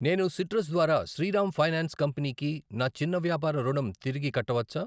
నేను సిట్రస్ ద్వారా Shriram finance company కి నా చిన్న వ్యాపార రుణం తిరిగి కట్టవచ్చా?